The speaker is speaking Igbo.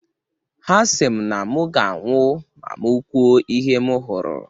Ha si m na mu ga-anwụ ma m kwuo ihe m hụrụ.